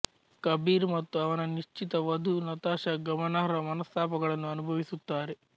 ಕಬೀರ್ ಮತ್ತು ಅವನ ನಿಶ್ಚಿತ ವಧು ನತಾಶಾ ಗಮನಾರ್ಹ ಮನಸ್ತಾಪಗಳನ್ನು ಅನುಭವಿಸುತ್ತಾರೆ